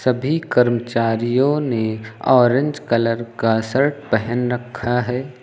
सभी कर्मचारियों ने ऑरेंज कलर का शर्ट पहन रखा है।